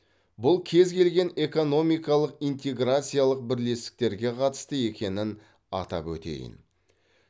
бұл кез келген экономикалық интеграциялық бірлестіктерге қатысты екенін атап өтейін